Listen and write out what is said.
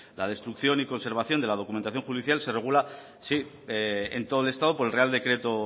la destrucción y conservación de la documentación judicial se regula sí en todo el estado por el real decreto